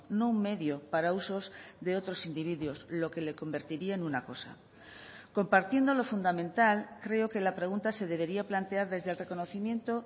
no un medio para usos de otros individuos lo que le convertiría en una cosa compartiendo lo fundamental creo que la pregunta se debería plantear desde el reconocimiento